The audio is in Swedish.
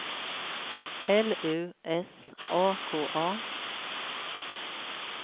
L U S A K A